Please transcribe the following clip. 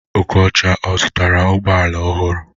Okocha, ọ zụtara ụgbọala ọhụrụ?